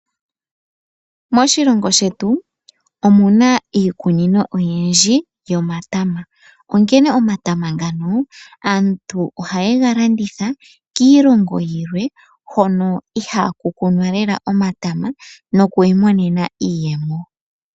Moshilongo shetu omuna iikunino oyindji yomatama. Onkene omatama ngano aantu ohaye fa landitha kiilongo yilwe hono ihaku kunwa lela omatama nokwiimonena iiyemo.